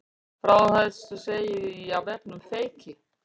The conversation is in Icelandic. Frá þessu segir á vefnum Feyki